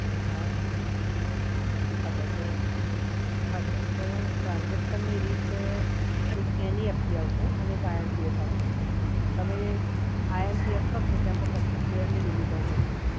હા હા સર, તો હા સર તો transaction ની રીત એક NEFT આવશે અને એક IMPS આવશે સર. તમે IMPS કરશો તો એમાં પચ્ચીસ હજારની લિમિટ હોય છે સર.